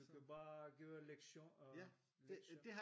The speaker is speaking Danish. Du kan bare give lektion øh lecture